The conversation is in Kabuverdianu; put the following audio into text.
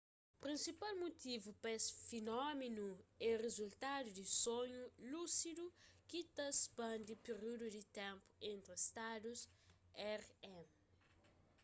prinsipal mutivu pa es finómenu é rizultadu di sonhu lúsidu ki ta spandi períudu di ténpu entri stadus rem